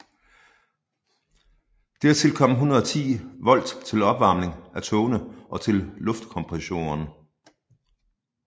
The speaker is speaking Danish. Dertil kom 110 V til opvarmning af togene og til luftkompressoren